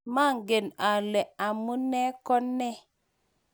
mangen ale amune ko ne